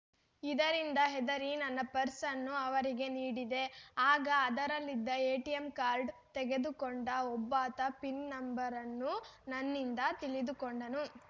ಇದರಿಂದ ಹೆದರಿ ನನ್ನ ಪರ್ಸ್‌ ಅನ್ನು ಅವರಿಗೆ ನೀಡಿದೆ ಆಗ ಅದರಲ್ಲಿದ್ದ ಎಟಿಎಂ ಕಾರ್ಡ್‌ ತೆಗೆದುಕೊಂಡ ಒಬ್ಬಾತ ಪಿನ್‌ ನಂಬರ್‌ ಅನ್ನು ನನ್ನಿಂದ ತಿಳಿದುಕೊಂಡನು